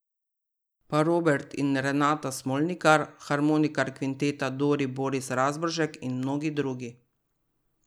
Pa Robert in Renata Smolnikar, harmonikar Kvinteta Dori Boris Razboršek in mnogi drugi.